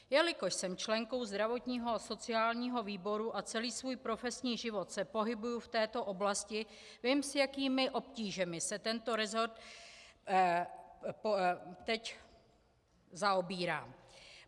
Jelikož jsem členkou zdravotního a sociálního výboru a celý svůj profesní život se pohybuji v této oblasti, vím, s jakými obtížemi se tento resort teď zaobírá.